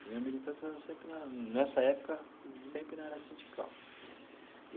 Minha militância era sempre na, nessa época, sempre na área sindical.